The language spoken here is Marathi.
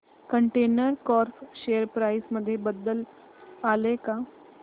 कंटेनर कॉर्प शेअर प्राइस मध्ये बदल आलाय का